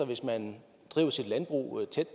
hvis man driver sit landbrug tæt